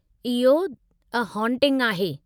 इहो 'a haunting' आहे।